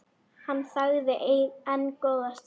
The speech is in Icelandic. Hann þagði enn góða stund.